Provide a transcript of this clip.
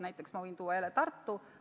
Näiteks ma võin tuua jälle Tartu.